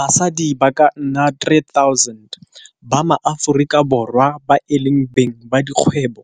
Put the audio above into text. Basadi ba ka nna 3 000 ba maAforika Borwa ba e leng beng ba dikgwebo